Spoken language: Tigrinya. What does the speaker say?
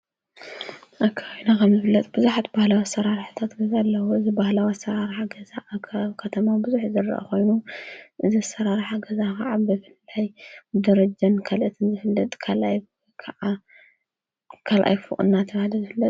ኣብ ከባቢና ከም ዝፍለጥ ቡዙሓት ባህላዊ ኣሰራርሓታት ገዛ ኣለዉ። ባህላዊ ኣሰራርሓታት ገዛ ኣብ ከተማ ቡዙሕ ንሪኦ ኮይኑ እዚ ኣሰራርሓ ገዛ ክዓ በደረጃን ካልኦትን ዝፍለጥ ካልኣይ ክዓ ካልኣይ ፉቕ እናተብሃለ ይፍለጥ።